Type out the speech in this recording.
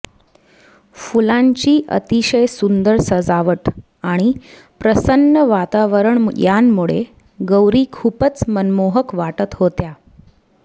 फुलांची अतिशय सुंदर सजावट आणि प्रसन्न वातावरण यांमुळे गौरी खूपच मनमोहक वाटत होत्या